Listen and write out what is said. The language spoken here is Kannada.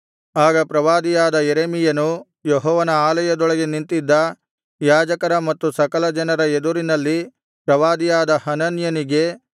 ಆಗ ಪ್ರವಾದಿಯಾದ ಯೆರೆಮೀಯನು ಯೆಹೋವನ ಆಲಯದೊಳಗೆ ನಿಂತಿದ್ದ ಯಾಜಕರ ಮತ್ತು ಸಕಲಜನರ ಎದುರಿನಲ್ಲಿ ಪ್ರವಾದಿಯಾದ ಹನನ್ಯನಿಗೆ